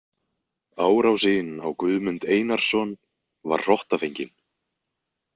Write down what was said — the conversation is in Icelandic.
Árásin á Guðmund Einarsson var hrottafengin.